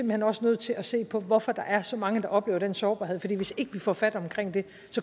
hen også nødt til at se på hvorfor der er så mange der oplever den sårbarhed for hvis ikke vi får fat omkring det